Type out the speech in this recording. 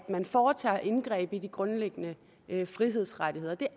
man foretager indgreb i de grundlæggende frihedsrettigheder det er